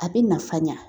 A bɛ nafa ɲa